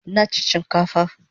Nachi chinkafa